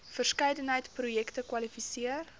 verskeidenheid projekte kwalifiseer